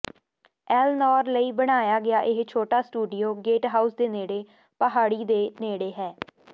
Elenore ਲਈ ਬਣਾਇਆ ਗਿਆ ਇਹ ਛੋਟਾ ਸਟੂਡੀਓ ਗੇਟਹਾਊਸ ਦੇ ਨੇੜੇ ਪਹਾੜੀ ਦੇ ਨੇੜੇ ਹੈ